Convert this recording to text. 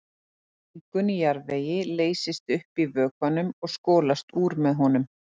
Mengun í jarðvegi leysist upp í vökvanum og skolast úr með honum.